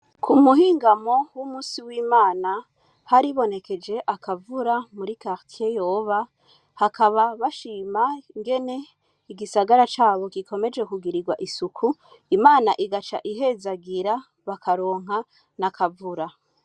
Kumuhingamo w'umunsi w'Imana haribonekeje akavura muri karitiye Yoba, hakaba bashima ingene igisagara cabo gikomeje kugirwa isuku, Imana igace ihezagira bakaronka n'akavura.